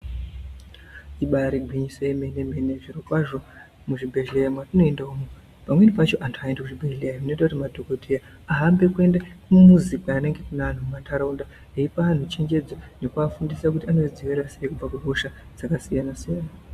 ibaari gwinyiso yemene-mene zvirokwazvo muzvibhehleya matinoenda umu, pamweni pacho antu haaendi kuzvibhehleya. Zvinoita kuti madhogodheya ahambe kuende kumuzi kunenge kune antu kumantaraunda. Eipa antu chenjedzo nekuafundisa kuti angazvidziirira sei kubva kuhosha dzakasiyana-siyana.